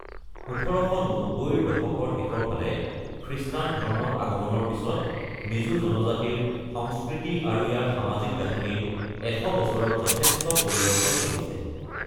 ১৮৯০ ৰ দশকৰ শেষৰ ফালে খ্ৰীষ্টান ধৰ্মৰ আগমনৰ পিছত, মিজো জনজাতিৰ সংস্কৃতি আৰু ইয়াৰ সামাজিক গাঁথনিৰ ১০০ বছৰত যথেষ্ট পৰিৱৰ্তন ঘটিছে।